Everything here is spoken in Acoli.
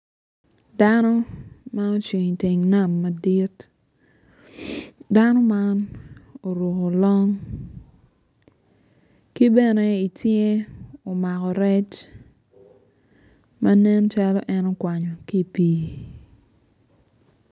Dano ma ocung i teng nam madit dano meno oruko long ki bene i cinge omako rec ma nen calo en okwanyo ki i pii.